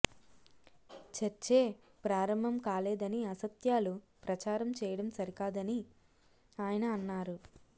చర్చే ప్రారంభం కాలేదని అసత్యాలు ప్రచారం చేయడం సరి కాదని ఆయన అన్నారు